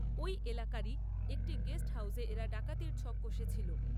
ঐ এলাকারই একটি গেস্ট হাউসে এরা ডাকাতির ছক কষেছিল।